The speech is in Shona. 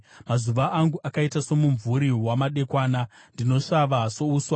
Mazuva angu akaita somumvuri wamadekwana; ndinosvava souswa.